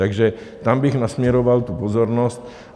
Takže tam bych nasměroval tu pozornost.